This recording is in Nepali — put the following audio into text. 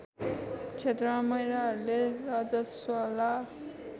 क्षेत्रमा महिलाहरूले रजस्वला